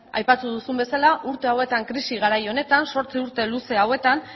aipatu duzun bezala urte hauetan krisi garai honetan zortzi urte luze hauetan